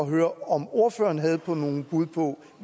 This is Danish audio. høre om ordføreren havde nogle bud på